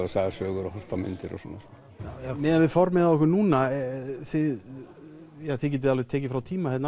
sagðar sögur og horft á myndir og svona miðað við formið hjá ykkur núna þið þið getið alveg tekið frá tíma hérna